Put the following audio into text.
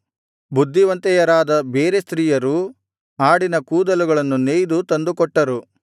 ಬುದ್ಧಿವಂತೆಯರಾದ ಬೇರೆ ಸ್ತ್ರೀಯರು ಆಡಿನ ಕೂದಲುಗಳನ್ನು ನೇಯ್ದು ತಂದುಕೊಟ್ಟರು